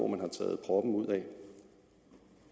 man har taget proppen ud af